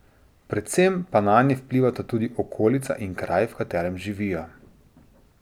Predvsem pa nanje vplivata tudi okolica in kraj, v katerem živijo.